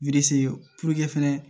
fɛnɛ